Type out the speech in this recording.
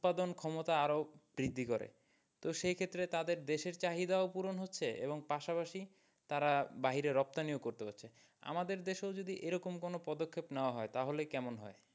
উৎপাদন ক্ষমতা আরও বৃদ্ধি করে তো সেইক্ষেত্রে তাদের দেশের চাহিদা ও পুরন হচ্ছে এবং পাশাপাশি তারা বাহিরে রপ্তানি ও করতে পারছে আমাদের দেশে ও যদি এইরকম কোনো পদক্ষেপ নেওয়া হয় তাহলে কেমন হয়?